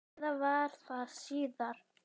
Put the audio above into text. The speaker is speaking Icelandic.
Eða var það síðar?